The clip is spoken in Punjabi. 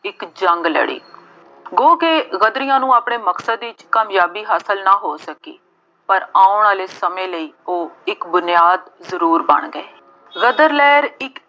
ਇੱਕ ਜੰਗ ਲੜੀ। ਉਹ ਕਿ ਗਦਰੀਆਂ ਨੂੰ ਆਪਣੇ ਮਕਸਦ ਵਿੱਚ ਕਾਮਯਾਬੀ ਹਾਸਲ ਨਾ ਸਕੀ। ਪਰ ਆਉਣ ਵਾਲੇ ਸਮੇਂ ਲਈ ਉਹ ਇੱਕ ਬੁਨਿਆਦ ਜ਼ਰੂਰ ਬਣ ਗਏ। ਗਦਰ ਲਹਿਰ ਇੱਕ